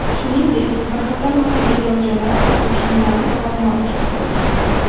Shuningdek, bir qator mahalliy rojalar qo‘shinlari tor-mor keltirildi.